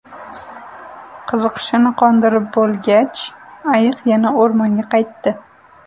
Qiziqishini qondirib bo‘lgach, ayiq yana o‘rmonga qaytdi.